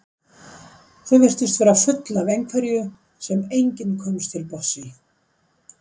Þau virtust vera full af einhverju sem enginn komst til botns í.